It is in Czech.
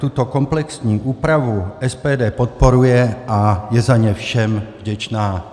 Tuto komplexní úpravu SPD podporuje a je za ni všem vděčná.